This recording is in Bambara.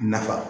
Nafa